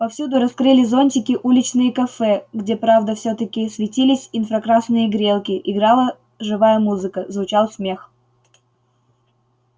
повсюду раскрыли зонтики уличные кафе где правда всё-таки светились инфракрасные грелки играла живая музыка звучал смех